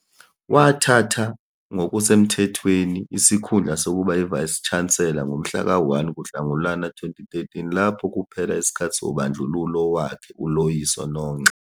Wathatha ngokusemthethweni isikhundla sokuba yi-Vice-Chancellor ngomhlaka 1 kuNhlangulana 2013 lapho kuphela isikhathi sobandlululo wakhe uLoyiso Nongxa.